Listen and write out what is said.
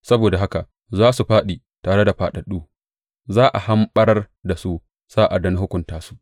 Saboda haka za su fāɗi tare da fāɗaɗɗu; za a hamɓarar da su sa’ad da na hukunta su,